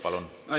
Palun!